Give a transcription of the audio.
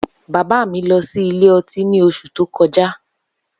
Baba mi lọ si ilẹ ọti ni oṣu to kọja.